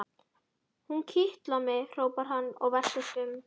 Hún kitlar mig! hrópar hann og veltist um.